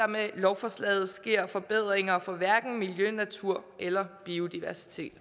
med lovforslaget sker forbedringer for miljø natur eller biodiversitet